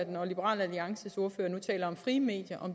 når liberal alliances ordfører nu taler om frie medier